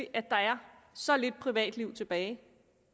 at der er så lidt privatliv tilbage